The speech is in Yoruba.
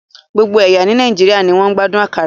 Gbogbo ẹ̀yà ní Nàìjíríà ni wọ́n ń gbádùn akara